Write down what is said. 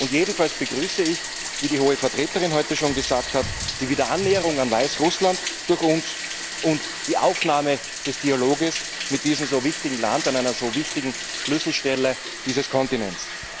Jedenfalls begrüße ich, wie die Hohe Vertreterin heute schon gesagt hat, die Wiederannäherung an Weißrussland durch uns und die Aufnahme des Dialogs mit diesem so wichtigen Land an einer so wichtigen Schlüsselstelle dieses Kontinents.